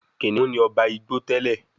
Kìnìún ní oba Ìgbò tèlé.